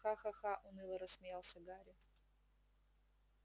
ха-ха-ха уныло рассмеялся гарри